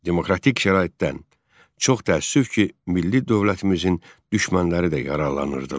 Demokratik şəraitdən, çox təəssüf ki, milli dövlətimizin düşmənləri də yararlanırdılar.